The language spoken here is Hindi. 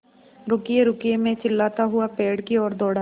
रुकिएरुकिए मैं चिल्लाता हुआ पेड़ की ओर दौड़ा